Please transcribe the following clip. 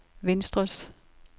venstres